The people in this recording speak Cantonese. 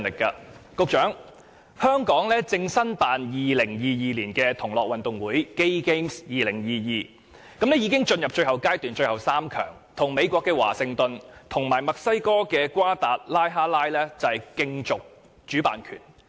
局長，香港正申辦2022年的同樂運動會，已經進入最後階段，成為最後3強，與美國的華盛頓和墨西哥的瓜達拉哈拉競逐主辦權。